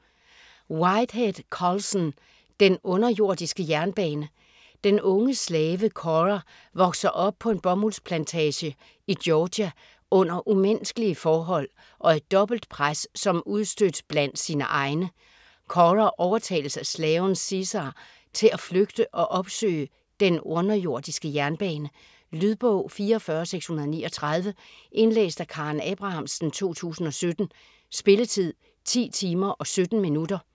Whitehead, Colson: Den underjordiske jernbane Den unge slave Cora vokser op på en bomuldsplantage i Georgia under umenneskelige forhold og et dobbeltpres som udstødt blandt sine egne. Cora overtales af slaven Caesar til at flygte og opsøge "den underjordiske jernbane". Lydbog 44639 Indlæst af Karen Abrahamsen, 2017. Spilletid: 10 timer, 17 minutter.